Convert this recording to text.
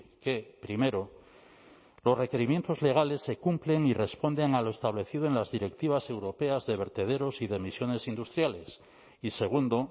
que primero los requerimientos legales se cumplen y responden a lo establecido en las directivas europeas de vertederos y de emisiones industriales y segundo